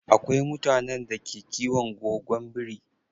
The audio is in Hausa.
Akwai mutanen da ke kiwon gogon biri.